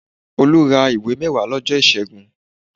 Olú ra ìwé mẹ́wàá lọ́jọ́ ìṣẹ́gùn